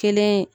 Kelen